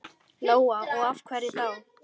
Lóa: Og af hverju þá?